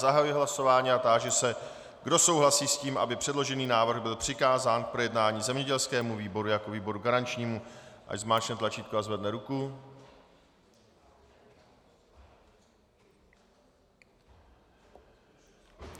Zahajuji hlasování a táži se, kdo souhlasí s tím, aby předložený návrh byl přikázán k projednání zemědělskému výboru jako výboru garančnímu, ať zmáčkne tlačítko a zvedne ruku.